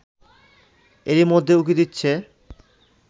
এরই মধ্যে উঁকি দিচ্ছে